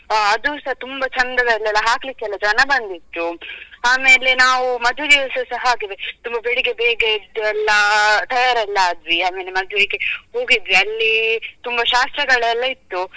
ಆ ಅದುಸಾ ತುಂಬ ಚಂದದಲ್ಲಿ ಎಲ್ಲ ಹಾಕ್ಲಿಕ್ಕೆ ಎಲ್ಲ ಜನ ಬಂದಿದ್ರು ಆಮೇಲೆ ನಾವು ಮದುವೆಗೆ ಸಹ ಹಾಗೇವೆ ತುಂಬ ಬೆಳ್ಳಿಗೆ ಬೇಗ ಎದ್ದು ಎಲ್ಲಾ ತಯಾರೆಲ್ಲಾ ಆದ್ವಿ ಆಮೇಲೆ ಮದ್ವೆಗೆ ಹೋಗಿದ್ವಿ ಅಲ್ಲಿ ತುಂಬ ಶಾಸ್ತ್ರಗಳೆಲ್ಲಾ ಇತ್ತು.